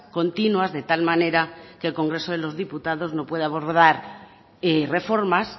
continuas de tal manera que el congreso de los diputados no pueda abordar reformas